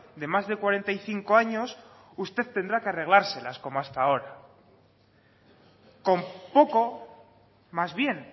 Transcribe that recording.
de más de cuarenta y cinco años usted tendrá que arreglárselas como hasta ahora con poco más bien